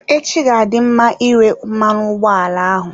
Echi ga-adị mma ire mmanụ ụgbọala ahụ.